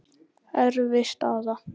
Erfið staða.